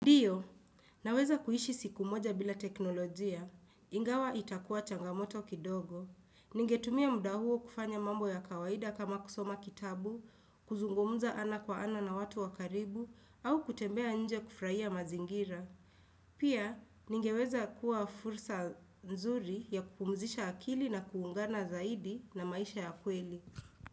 Ndiyo, naweza kuishi siku moja bila teknolojia. Ingawa itakuwa changamoto kidogo. Ningetumia muda huo kufanya mambo ya kawaida kama kusoma kitabu, kuzungumza ana kwa ana na watu wa karibu, au kutembea nje kufurahia mazingira. Pia, ningeweza kuwa fursa nzuri ya kupumzisha akili na kuungana zaidi na maisha ya kweli.